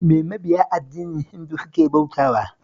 Me mabiya addinin Hindu suke bautawa?